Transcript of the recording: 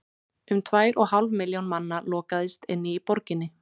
um tvær og hálf milljón manna lokaðist inni í borginni